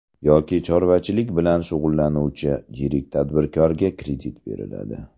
Yoki chorvachilik bilan shug‘ullanuvchi yirik tadbirkorga kredit beriladi.